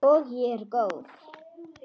Og ég er góð.